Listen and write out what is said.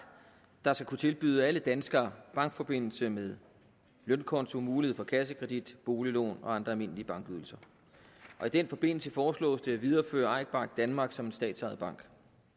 der skal kunne tilbyde alle danskere bankforbindelse med lønkonto mulighed for kassekredit boliglån og andre almindelige bankydelser og i den forbindelse foreslås det at videreføre eik bank danmark som en statsejet bank